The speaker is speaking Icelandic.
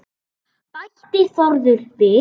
bætti Þórður við.